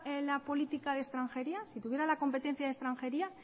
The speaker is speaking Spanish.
la política de extranjería si tuviera la competencia de extranjería